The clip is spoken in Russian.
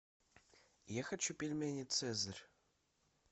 я хочу пельмени цезарь